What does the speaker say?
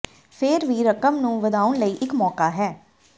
ਫਿਰ ਵੀ ਰਕਮ ਨੂੰ ਵਧਾਉਣ ਲਈ ਇੱਕ ਮੌਕਾ ਹੈ